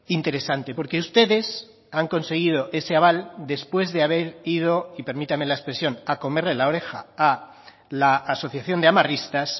interesante porque ustedes han conseguido ese aval después de haber ido y permítame la expresión a comerle la oreja a la asociación de amarristas